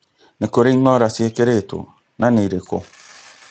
nĩ kũrĩ ĩng'ora cĩekĩretwo na nĩ irĩkũ